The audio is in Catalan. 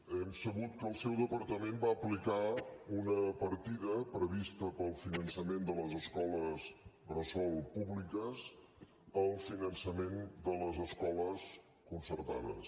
hem sabut que el seu departament va aplicar una partida prevista per al finançament de les escoles bressol públiques al finançament de les escoles concertades